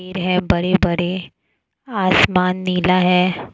पेड़ है बड़े बड़े आसमान नीला है।